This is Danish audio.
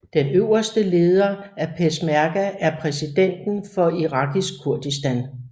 Den øverste leder af peshmerga er præsidenten for Irakisk Kurdistan